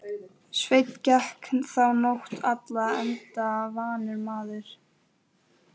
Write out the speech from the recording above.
Sveinn gekk þá nótt alla enda vanur maður.